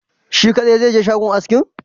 Shi kadai zaije shagon askin?